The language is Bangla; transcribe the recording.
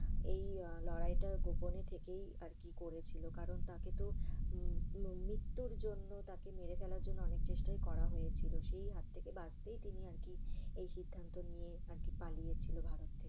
এই আহ লড়াইটা গোপনে থেকেই আর কি করছিল আর কি। কারণ আহ তাকে তো মৃত্যুর জন্য তাকে মেরে পেলার জন্য অনেক চেষ্টাই করা হয়েছিল। সেই হাত থেকে বাঁচতেই তিনি আর কি এই সিদ্ধান্ত নিয়ে পালিয়েছিল ভারত থেকে আর কি।